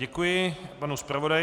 Děkuji panu zpravodaji.